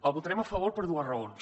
hi votarem a favor per dues raons